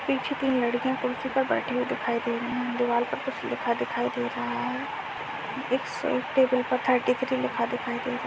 पीछे तीन लड़कियां कुर्सी पर बैठी हुई दिखाई दे रही है| दीवाल पर कुछ लिखा दिखाई दे रहा है| एक सौ एक टेबल पर थर्टी थ्री लिखा दिखाई दे रहा--